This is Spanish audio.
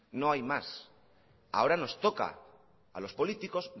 no hay más ahora nos toca a los políticos